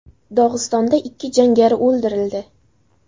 Dog‘istonda ikki jangari o‘ldirildi.